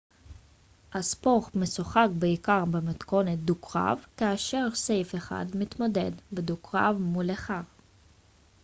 הספורט משוחק בעיקר במתכונת דו-קרב כאשר סייף אחד מתמודד בדו-קרב מול אחר